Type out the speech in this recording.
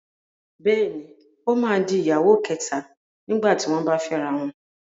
Bẹ́ẹ̀ni, ó máa di ìyàwó kẹ̀ta nígbà tí wọ́n bá fẹ́ra wọn.